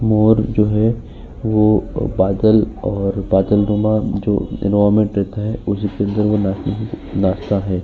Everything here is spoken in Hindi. मोर जो है वो बादल और बादलनुमा जो एनवायरनमेंट रहता है उसमे नाचता है।